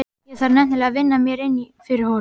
Ég þarf nefnilega að vinna mér inn fyrir honum.